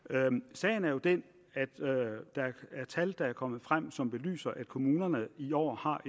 sagen er jo den at der er kommet tal frem som belyser at kommunerne i år har